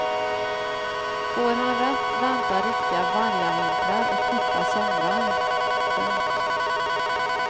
Får han rätt väntar riktiga vargavintrar och korta somrar. punkt